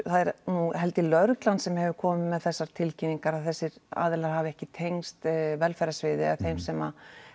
er nú held ég lögreglan sem hefur komið með þessar tilkynningar að þessir aðilar hafi ekki tengst velferðarsviði eða þeim sem